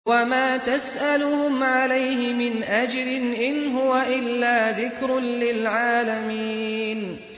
وَمَا تَسْأَلُهُمْ عَلَيْهِ مِنْ أَجْرٍ ۚ إِنْ هُوَ إِلَّا ذِكْرٌ لِّلْعَالَمِينَ